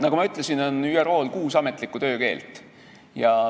Nagu ma ütlesin, on ÜRO-l kuus ametlikku töökeelt.